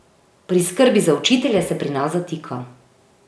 Pri skrbi za učitelje se pri nas zatika.